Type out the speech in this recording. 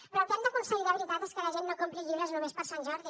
però el que hem d’aconseguir de veritat és que la gent no compri llibres només per sant jordi